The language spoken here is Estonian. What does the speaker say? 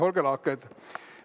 Olge lahked!